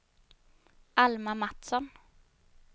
Alma Mattsson